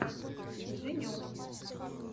женек